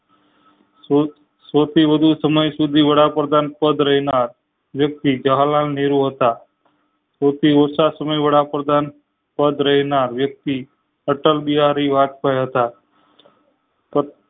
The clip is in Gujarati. સૌ સૌથી વધુ સમય સુધી વડાપ્રધાન પેડ રહેનાર જવાહરલાલ નહેરુ હતા સૌથી ઓછા સમય વડાપ્રધાન પદ રહેનાર વ્યક્તિ અટલબિહારી વાત્સલ્ય હતા